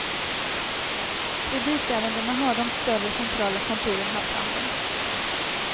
Kreditärendena har de större centrala kontoren haft hand om.